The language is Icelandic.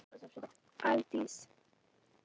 Aldís